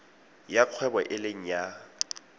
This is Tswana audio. ya kgwebo e leng ya